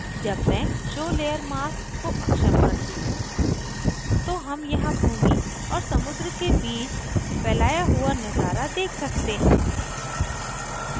जब मैं show layer mask को अक्षम करती हूँ तो हम यहाँ भूमि और समुद्र के बीच फ़ैलाया हुआ नज़ारा देख सकते हैं